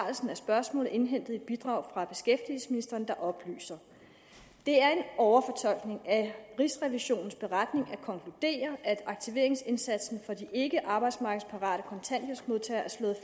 af spørgsmålet indhentet et bidrag fra beskæftigelsesministeren der oplyser det er en overfortolkning af rigsrevisionens beretning at konkludere at aktiveringsindsatsen for de ikkearbejdsmarkedsparate kontanthjælpsmodtagere er slået